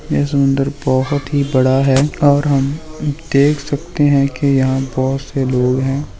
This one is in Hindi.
यह समुन्दर बहुत ही बड़ा है और हम देख सकते है की यहाँ बहुत से लोग है।